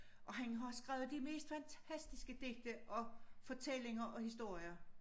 Og han har skrevet de mest fantastiske digte og fortællinger og historier